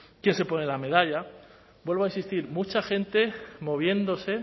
quién se pone la medalla vuelvo a insistir mucha gente moviéndose